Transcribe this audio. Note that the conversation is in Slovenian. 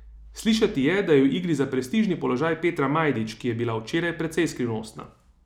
Slišati je, da je v igri za prestižni položaj Petra Majdič, ki je bila včeraj precej skrivnostna.